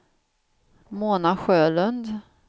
Mona Sjölund